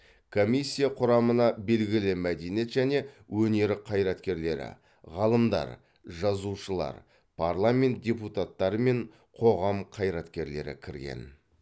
комиссия құрамына белгілі мәдениет және өнер қайраткерлері ғалымдар жазушылар парламент депутаттары мен қоғам қайраткерлері кірген